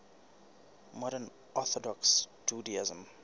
modern orthodox judaism